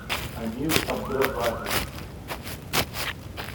амир абдразаков